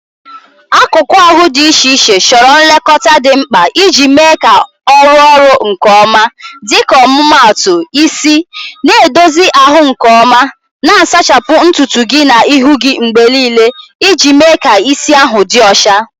Akụkụ ahụ dị iche iche chọrọ nlekọta dị mkpa iji mee ka ọ rụọ ọrụ nke ọma, dịka ọmụmaatụ isi: na-edozi ahụ nke ọma, na-asachapụ ntutu gị na ihu gị mgbe niile iji mee ka isi ahụ dị ọcha.